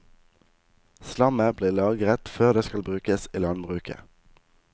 Slammet blir lagret før det skal brukes i landbruket.